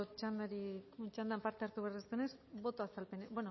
txandan parte hartu behar ez denez